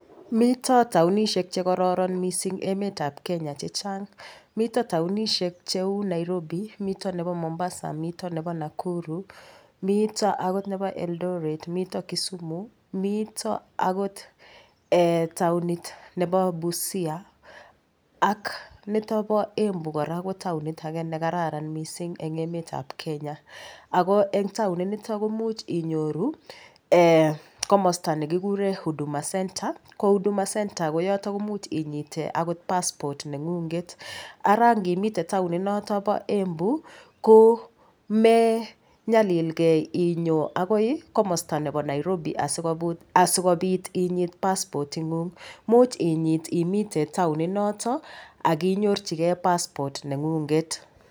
Mito taonishek chekororon mising' emetab Kenya chechang' mito taonishek cheu Nairobi mito nebo Mombasa mito nebo Nakuru mito akot nebo Eldoret mito Kisumu mito akot taonit nebo Busia ak nito bo Embu kora ko taonit age nekararan mising'eng' emetab Kenya ako eng' taonit nito komuch inyoru komosta nekikuree Huduma Center ko Huduma Center komuch inyite akot passport neng'unget ara ngimite taoni noto bo Embu komenyalilgei inyoo akoi komosta nebo Nairobi asikobit inyit passport inguk much inyit imite taoninoto akinyorchigei passport neng'unget